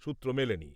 সুত্র মেলেনি ।